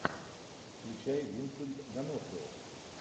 включай винсент донофрио